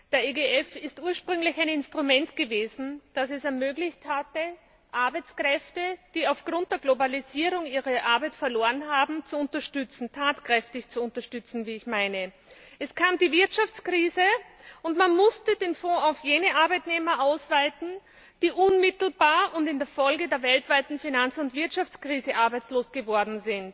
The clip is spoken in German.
Der EGF war ursprünglich ein Instrument, das es ermöglicht hatte, Arbeitskräfte, die aufgrund der Globalisierung ihre Arbeit verloren haben, zu unterstützen tatkräftig zu unterstützen, wie ich meine. Es kam die Wirtschaftskrise, und man musste den Fonds auf jene Arbeitnehmer ausweiten, die unmittelbar und in der Folge der weltweiten Finanz und Wirtschaftskrise arbeitslos wurden.